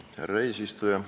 Härra eesistuja!